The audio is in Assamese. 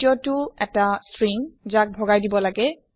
২য় টো ও এটা ষ্ট্ৰিং যাক ভগাই দিব লাগে